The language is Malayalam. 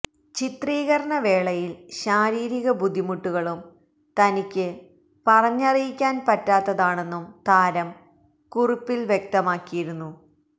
ചിത്രീകരണ വേളയില് ശാരീരിക ബുദ്ധിമുട്ടുകളും തനിക്ക് പറഞ്ഞറിയിക്കാന് പറ്റാത്തതാണെന്നും താരം കുറിപ്പില് വ്യക്തമാക്കിയിരുന്നു